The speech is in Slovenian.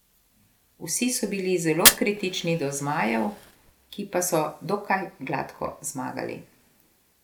Vsi so bili zelo kritični do zmajev, ki pa so dokaj gladko zmagali.